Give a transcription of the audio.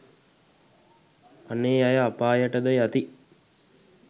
අනේ අය අපායට ද යති.